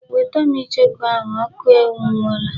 Weta m ichoku ahụ! Oku enwuola.